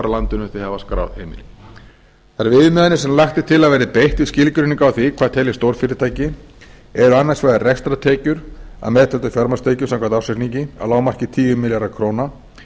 landinu þau hafa skráð heimili þær viðmiðanir sem lagt er til að verði beitt við skilgreiningu á því hvað teljist stórfyrirtæki eru annars vegar rekstrartekjur að meðtöldum fjármagnstekjum samkvæmt ársreikningi að lágmarki tíu milljarðar króna